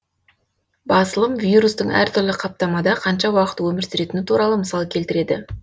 басылым вирустың әртүрлі қаптамада қанша уақыт өмір сүретіні туралы мысал келтіреді